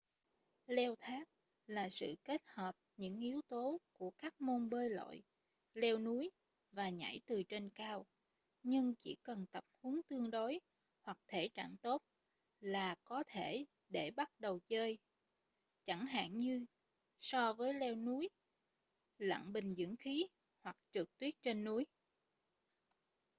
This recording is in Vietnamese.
leo thác là sự kết hợp những yếu tố của các môn bơi lội leo núi và nhảy từ trên cao--nhưng chỉ cần tập huấn tương đối hoặc thể trạng tốt là có thể để bắt đầu chơi chẳng hạn như so với leo núi lặn bình dưỡng khí hoặc trượt tuyết trên núi